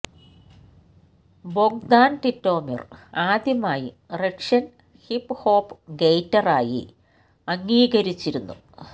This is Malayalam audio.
ബൊഗ്ദാൻ ടിറ്റോമിർ ആദ്യമായി റഷ്യൻ ഹിപ് ഹോപ് ഗേറ്റർ ആയി അംഗീകരിച്ചിരുന്നു